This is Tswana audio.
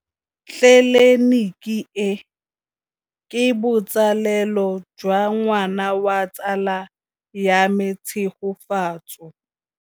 Tleliniki e, ke botsalêlô jwa ngwana wa tsala ya me Tshegofatso.